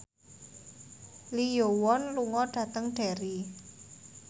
Lee Yo Won lunga dhateng Derry